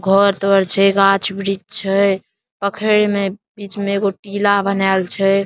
घर द्वार छै गाछ-वृक्ष छै पोखरे मे बीच मे टीला बनल छै ।--